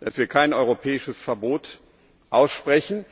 und dass wir kein europäisches Verbot aussprechen.